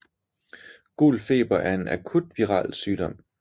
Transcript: Gul feber er en akut viral sygdom